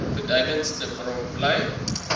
beduidendste bron bly